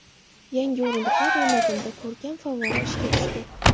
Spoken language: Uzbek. Yangi o‘rindiqlar o‘rnatildi, ko‘rkam favvora ishga tushdi.